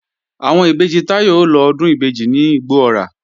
Àwọn ìbejì Táyọ̀ ó lọ Ọdún ìbejì ní Igbó-ọrà